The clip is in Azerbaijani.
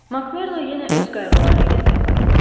Mak Merlo yenə öz qayğıları ilə tək qaldı.